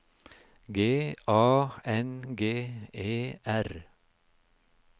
G A N G E R